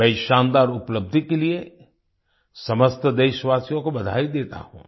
मैं इस शानदार उपलब्धि के लिए समस्त देशवासियों को बधाई देता हूँ